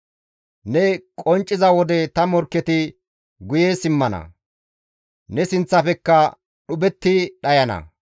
Ne qoncciza wode ta morkketi guye simmana; ne sinththafekka dhuphetti dhayana.